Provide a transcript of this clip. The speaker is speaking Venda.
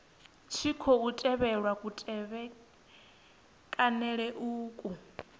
tshi khou tevhelwa kutevhekanele uku